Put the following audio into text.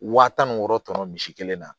Waa tan ni wɔɔrɔ tɔnɔ misi kelen na